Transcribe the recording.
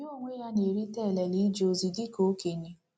Ya onwe ya na-erite elele ije ozi dị ka okenye. ”